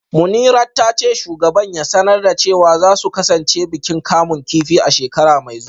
Munirat ta ce shugaban ya sanar da cewa za su kasance bikin kamun kifi a shekara mai zuwa